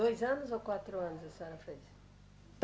Dois anos ou quatro anos a senhora fez?